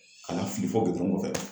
Ka n'a fili fɔ gugɔrɔn kɔfɛ